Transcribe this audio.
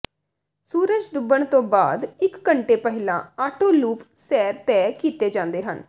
ਸੂਰਜ ਡੁੱਬਣ ਤੋਂ ਬਾਅਦ ਇਕ ਘੰਟੇ ਪਹਿਲਾਂ ਆਟੋ ਲੂਪ ਸੈਰ ਤੈਅ ਕੀਤੇ ਜਾਂਦੇ ਹਨ